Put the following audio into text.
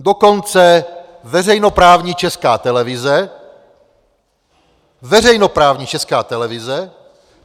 Dokonce veřejnoprávní Česká televize - veřejnoprávní Česká televize!